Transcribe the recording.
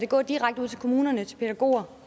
gå direkte ud til kommunerne til pædagoger